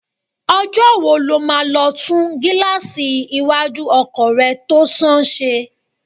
Ọjọ́ wo lọ máa lọ tún gíláàsì iwájú ọkọ̀ rẹ tó sán ṣe?